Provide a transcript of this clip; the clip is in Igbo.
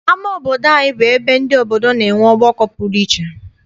Ama obodo anyị bụ ebe ndị obodo na-enwe ọgbakọ pụrụ iche.